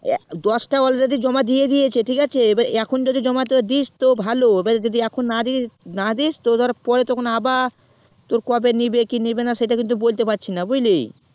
দশ তা already জমা দিয়ে দিয়েছে ঠিক আছে এখন যদি জমা তো দিস তো ভালো এখন যদি না দিস তো পরে তখন আবা তোর কবে নেবে কি নেবে না সেটা কিন্তু বলতে পারছিনা বুঝলি